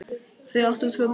Þau áttu tvö börn.